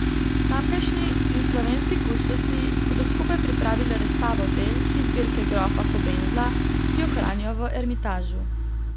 Tamkajšnji in slovenski kustosi bodo skupaj pripravili razstavo del iz zbirke grofa Kobenzla, ki jo hranijo v Ermitažu.